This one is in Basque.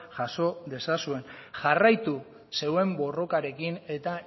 jaso dezazuen jarraitu zeuen borrokarekin eta